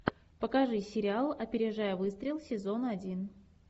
покажи сериал опережая выстрел сезон один